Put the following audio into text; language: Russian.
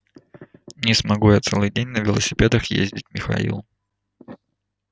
не смогу я целый день на велосипедах ездить михаил